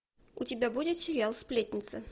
у тебя будет сериал сплетница